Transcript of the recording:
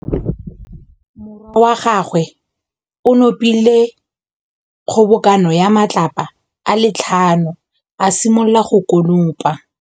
Morwa wa gagwe o nopile kgobokanô ya matlapa a le tlhano, a simolola go konopa.